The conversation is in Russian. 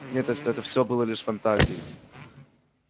нет эстеты всё было всего лишь фантазией